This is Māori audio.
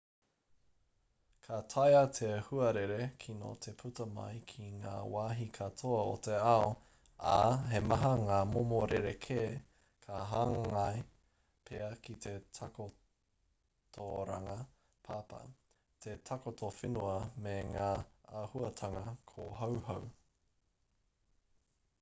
ka taea te huarere kino te puta mai ki ngā wāhi katoa o te ao ā he maha ngā momo rerekē ka hāngai pea ki te takotoranga papa te takoto whenua me ngā āhuatanga kōhauhau